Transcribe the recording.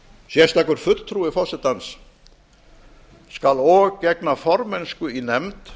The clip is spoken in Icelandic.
sérstakur fulltrúi forsetans skal og gegna formennsku í nefnd